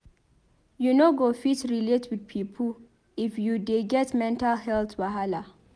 You no go fit relate well wit pipo if you dey get mental healt wahala.